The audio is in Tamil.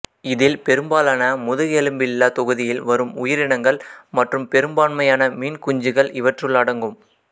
இதில் பெரும்பாலான முதுகெலும்பில்லா தொகுதியில் வரும் உயிரினங்கள் மற்றும் பெரும்பான்மையான மீன்குஞ்சுகள் இவற்றுள் அடங்கும்